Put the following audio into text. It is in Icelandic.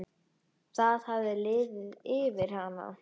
Það hafði liðið yfir hana.